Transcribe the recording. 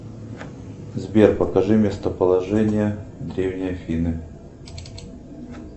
сбер покажи местоположение древней афины